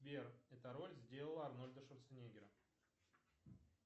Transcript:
сбер эта роль сделала арнольда шварценеггера